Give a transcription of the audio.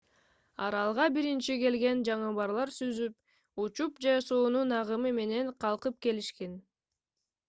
аралга биринчи келген жаныбарлар сүзүп учуп же суунун агымы менен калкып келишкен